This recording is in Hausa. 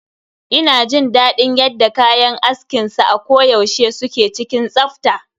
Ina jin daɗin yadda kayan askin sa a ko yaushe suke cikin tsafta.